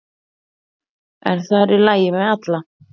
En það er í lagi með alla